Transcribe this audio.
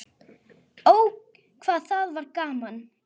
Ó, hvað það var gaman.